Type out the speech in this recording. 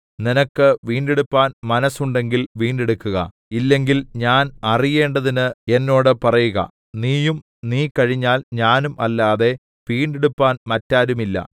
നിനക്ക് വീണ്ടെടുപ്പാൻ മനസ്സുണ്ടെങ്കിൽ വീണ്ടെടുക്കുക ഇല്ലെങ്കിൽ ഞാൻ അറിയേണ്ടതിന്ന് എന്നോട് പറയുക നീയും നീ കഴിഞ്ഞാൽ ഞാനും അല്ലാതെ വീണ്ടെടുപ്പാൻ മറ്റാരുമില്ല